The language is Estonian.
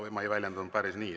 Ma ei väljendunud päris nii.